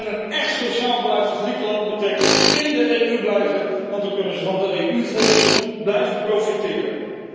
En een echt sociaal beleid voor Griekenland betekent in de EU blijven want dan kunnen ze van de EU fondsen blijven profiteren.